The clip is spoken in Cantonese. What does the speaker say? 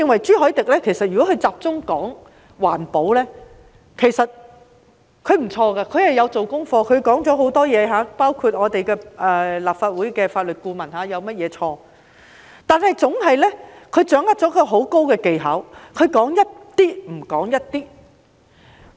朱凱廸議員如果只集中討論環保，其實也不錯，他有做功課，提出很多問題，包括立法會法律顧問有甚麼錯，但他掌握了很高的技巧，他總是說一部分，而不說一部分。